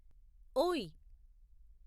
ఓయ్